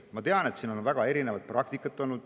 Ma tean, et siin on olnud väga erinevat praktikat.